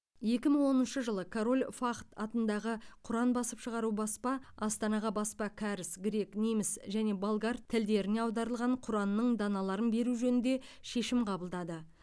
екі мың оныншы жылы король фахд атындағы құран басып шығару баспа астанаға баспа кәріс грек неміс және болгар тілдеріне аударылған құранның даналарын беру жөнінде шешім қабылдады